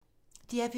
DR P2